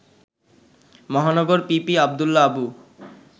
Mahanagar PP Abdullah Abu